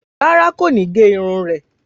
Rárá, kò ní gé irun rẹ̀.